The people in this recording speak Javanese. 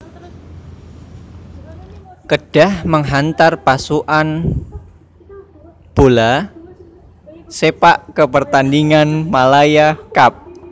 Kedah menghantar pasukan bola sepak ke pertandingan Malaya Cup